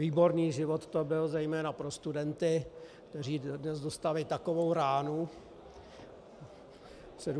Výborný život to byl zejména pro studenty, kteří dnes dostali takovou ránu 17. listopadu.